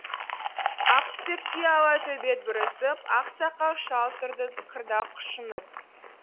ақ түтекте ала төбет бүрісіп ақ сақал шал тұрды қырда құшынып